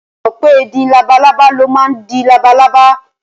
Ṣé o mọ̀ pé ìdin labalábá ló máa ń di labalábá?